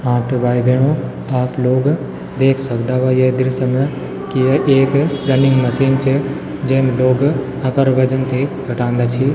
हाँ त भाई बैंणों आप लोग देख सकदा वा ये दृश्य म की ये एक रनिंग मशीन च जेम लोग अपर वजन थे घटान्दा छी --